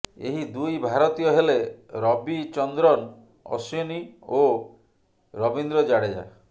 ଏହି ଦୁଇ ଭାରତୀୟ ହେଲେ ରବୀଚନ୍ଦ୍ରନ ଅଶ୍ୱିନ ଏବଂ ରବୀନ୍ଦ୍ର ଜାଡେଜା